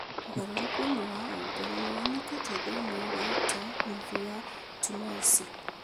ũgarũrũku ũmwe wa ũmbĩre nĩ wonekete thĩinĩ wa ta nuthu ya tumor ici.